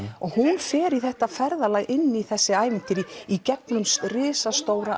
hún fer í þetta ferðalag inn í þessu ævintýri í gegnum risastóra